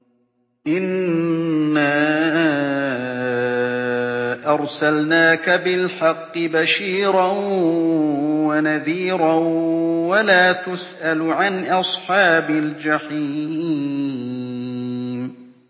إِنَّا أَرْسَلْنَاكَ بِالْحَقِّ بَشِيرًا وَنَذِيرًا ۖ وَلَا تُسْأَلُ عَنْ أَصْحَابِ الْجَحِيمِ